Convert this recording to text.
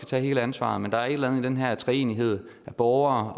tage hele ansvaret men der er et eller andet i den her treenighed af borgere